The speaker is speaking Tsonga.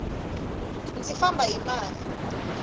ndzi famba hi mali